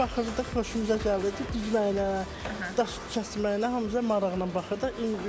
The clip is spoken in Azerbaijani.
Baxırdıq, xoşumuza gəldirdi düzməyinə, daş kəsməyinə, hamısı da maraqla baxırdı.